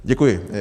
Děkuji.